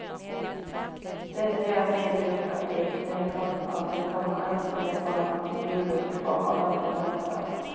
Detta ger ny byråkrati och nya kostnader men kommer inte medborgarna tillgodo i form av ökad välfärd.